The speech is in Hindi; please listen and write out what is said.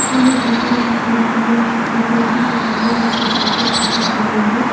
सामने बहुत सारे कुप्पे रखे गए है। सफ़ेद रंग की कुप्पे हैं नीचे एक साइड पे कप रखी गयी हैं।